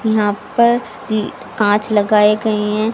यहां पे कांच लगाए गए हैं।